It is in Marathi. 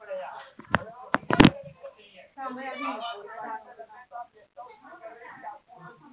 अं